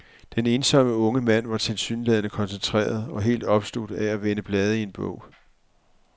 Den ensomme unge mand var tilsyneladende koncentreret og helt opslugt af at vende blade i en bog.